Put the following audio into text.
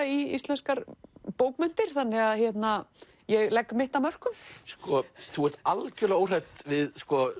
í íslenskar bókmenntir þannig að ég legg mitt af mörkum þú ert algjörlega óhrædd við